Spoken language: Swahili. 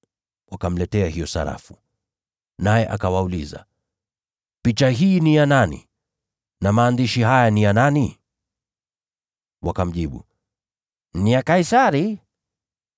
Wakamletea hiyo sarafu. Naye akawauliza, “Sura hii ni ya nani? Na maandishi haya ni ya nani?” Wakamjibu, “Ni vya Kaisari.”